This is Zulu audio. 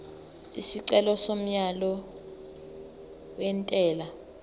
isicelo somyalo wentela